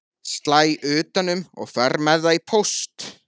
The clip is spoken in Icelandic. Slæ utan um og fer með það í póst.